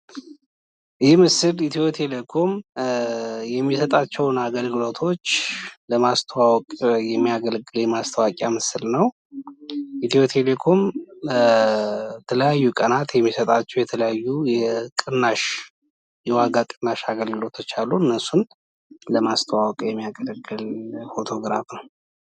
የማስታወቂያ መልዕክት አሳማኝ፣ አጭርና በቀላሉ የሚታወስ መሆን አለበት፤ የታለመውን ታዳሚ ስሜት የሚነካ መሆንም ያስፈልጋል።